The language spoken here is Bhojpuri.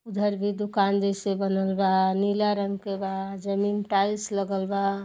उधर भी दुकान जैसे बनल बा नीला रंग के बा जमीन टाइल्स लगल बा।